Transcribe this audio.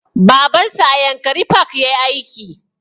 Baban su a yankari park yayi aiki